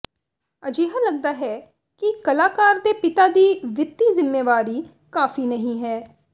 ਅਜਿਹਾ ਲਗਦਾ ਹੈ ਕਿ ਕਲਾਕਾਰ ਦੇ ਪਿਤਾ ਦੀ ਵਿੱਤੀ ਜ਼ਿੰਮੇਵਾਰੀ ਕਾਫ਼ੀ ਨਹੀਂ ਹੈ